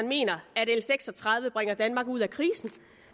mener at l seks og tredive bringer danmark ud af krisen